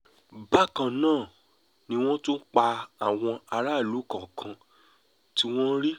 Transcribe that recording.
bákan náà ni wọ́n tún pa àwọn aráàlú kọ̀ọ̀kan tí wọ́n rí